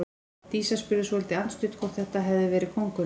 Dísa spurði svolítið andstutt hvort þetta hefði verið kóngurinn.